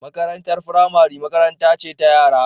Makarantar firamare makaranta ce ta yara